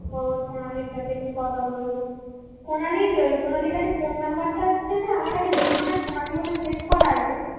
ও সোনালীর সাথে একটু কথা বলব সোনালী সোনালীর কাছে ফোন নাম্বারটা হচ্ছে যে আমার কাছে দুখানা সোনালী বলে save করা আছে